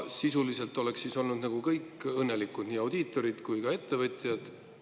Sisuliselt oleksid siis olnud kõik õnnelikud, nii audiitorid kui ka ettevõtjad.